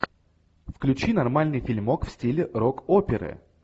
включи нормальный фильмок в стиле рок оперы